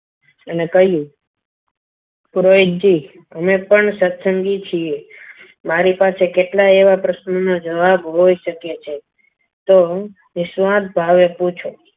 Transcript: અને કહ્યું પુરોહિત જી અમે પણ સત્સંગી છીએ મારી પાસે કેટલાય એવા પ્રશ્નો નો જવાબ હોઈ શકે છે તો નિસ્વાર્થ ભાવે પૂછો.